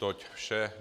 Toť vše.